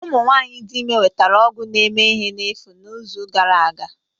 Ụmụ nwanyị dị ime nwetara ọgwụ na-eme ihe n'efu n'izu gara aga